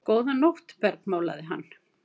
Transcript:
Góða nótt bergmálaði hann.